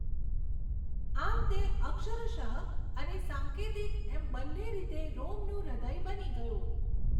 આમ તે અક્ષરશ અને સાંકેતિક એમ બંને રીતે રોમનું હૃદય બની ગયું.